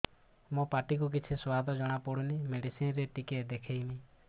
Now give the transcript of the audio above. ମୋ ପାଟି କୁ କିଛି ସୁଆଦ ଜଣାପଡ଼ୁନି ମେଡିସିନ ରେ ଟିକେ ଦେଖେଇମି